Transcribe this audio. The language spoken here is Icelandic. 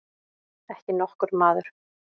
Ekki nokkur maður.